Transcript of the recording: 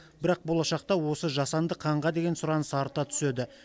бірақ болашақта осы жасанды қанға деген сұраныс арта түседі